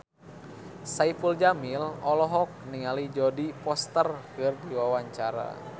Saipul Jamil olohok ningali Jodie Foster keur diwawancara